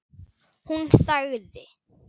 Hún þagði.